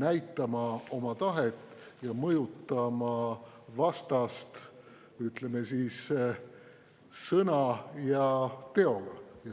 näitama oma tahet ja mõjutama vastast, ütleme siis, sõna ja teoga.